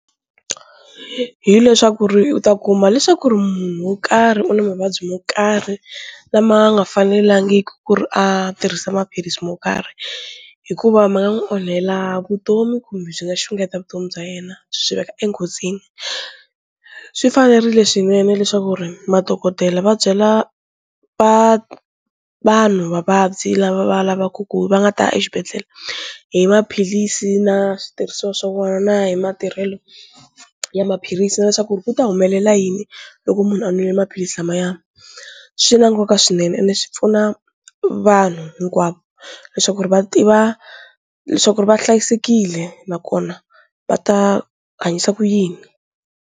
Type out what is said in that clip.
Hi leswaku ri u ta kuma leswaku ri munhu wo karhi u na mavabyi mo karhi lama nga fanelangiki ku ri a tirhisa maphilisi mo karhi hikuva ma nga n'wi onhela vutomi kumbe byi nga xungeta vutomi bya yena byi veka enghozini, swi fanerile swinene leswaku ri madokodela va byela va vanhu vavabyi lava va lavaku ku va nga ta exibedhlele hi maphilisi na switirhisiwa swa wona na hi matirhelo ya maphilisi na leswaku ku ta humelela yini loko munhu a nwile maphilisi lamaya, swi na nkoka swinene ende swi pfuna vanhu hinkwavo leswaku ri va tiva leswaku ri va hlayisekile nakona va ta hanyisa ku yini.